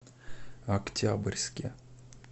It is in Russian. октябрьске